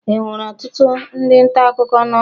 Enwere ọtụtụ ndị nta akụkọ n'ọrụ?